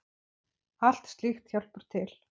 Allt slíkt hjálpar til.